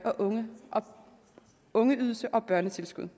og ungeydelse og børnetilskud